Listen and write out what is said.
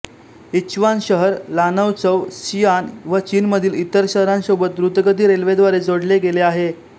यिंच्वान शहर Lanzhou Xi'an व चीनमधील इतर शहरांसोबत द्रुतगती रेल्वेद्वारे जोडले गेले आहे